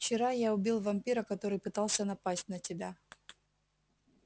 вчера я убил вампира который пытался напасть на тебя